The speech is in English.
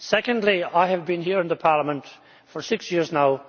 Secondly, I have been here in Parliament for six years now.